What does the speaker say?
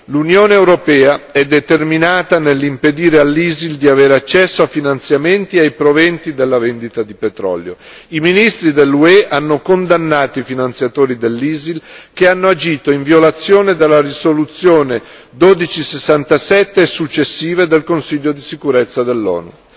L'Unione europea è determinata nell'impedire all'ISIL di avere accesso a finanziamenti e ai proventi della vendita di petrolio. I ministri dell'UE hanno condannato i finanziatori dell'ISIL che hanno agito in violazione della risoluzione 1267 e successive del Consiglio di sicurezza dell'ONU.